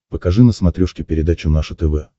покажи на смотрешке передачу наше тв